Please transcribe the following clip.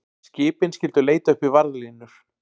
Skipin skyldu leita uppi varðlínur